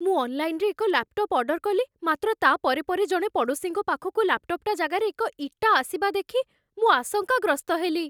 ମୁଁ ଅନ୍‌ଲାଇନ୍‌ରେ ଏକ ଲାପ୍‌ଟପ୍ ଅର୍ଡର୍ କଲି, ମାତ୍ର ତା' ପରେ ପରେ ଜଣେ ପଡ଼ୋଶୀଙ୍କ ପାଖକୁ ଲାପ୍ଟପ୍ ଜାଗାରେ ଏକ ଇଟା ଆସିବା ଦେଖି ମୁଁ ଆଶଙ୍କାଗ୍ରସ୍ତ ହେଲି।